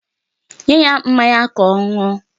Nye ya mmanya ka ọ ṅụọ.